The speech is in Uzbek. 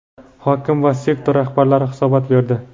hokim va sektor rahbarlari hisobot berdi.